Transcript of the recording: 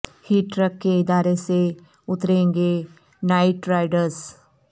heat trick کے ارادے سے اتریں گے نائٹ رائیڈرس